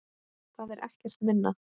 Það er ekkert minna!